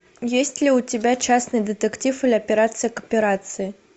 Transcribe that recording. есть ли у тебя частный детектив или операция к операции